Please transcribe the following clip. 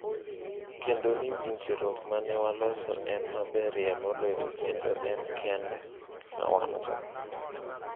“Kendo ni winjruok ma ne waloso en maberie moloyo kendo en kende ma wan go.”